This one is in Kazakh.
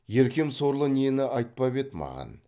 еркем сорлы нені айтпап еді маған